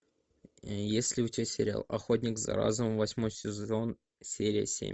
есть ли у тебя сериал охотник за разумом восьмой сезон серия семь